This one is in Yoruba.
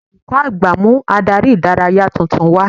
Olùkọ́ àgbà mú Ádárì ìdárayá tuntun wá